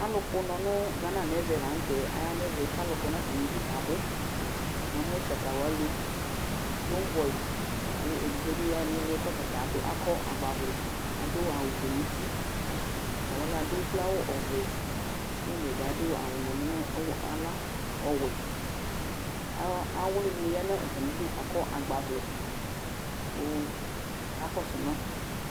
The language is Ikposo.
Alʋ kpʋnɔ nʋ Gana nɛvɛ la nʋ tɛ aya nɛvɛ ,k 'alʋ kɔ natamidu kabʋNamʋ chata wanɩ, sombɔyɩ, akʋ edigbo di ya nɩɩlɩ kɔta ta adʋ ,akɔ agbavlɛ adʋ awʋ fue nutiTʋ alʋ wanɩ adʋ ukloawʋ ɔvɛ tombɔy bɩ adʋ nʋlɩ naɣla ɔwlɩ nɩ ya nʋ atamidu kakɔ agbavlɛ kʋ aka kɔsʋ ma